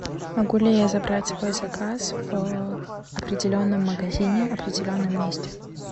могу ли я забрать свой заказ в определенном магазине в определенном месте